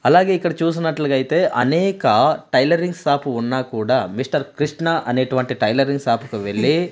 అలాగే ఇక్కడ చూసినట్లుగైతే అనేక టైలరింగ్ షాపు ఉన్న కూడా మిస్టర్ కృష్ణ అనేటువంటి టైలరింగ్ షాపుకు వెళ్ళి--